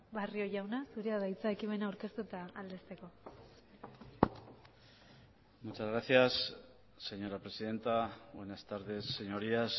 barrio jauna zurea da hitza ekimena aurkeztu eta aldezteko muchas gracias señora presidenta buenas tardes señorías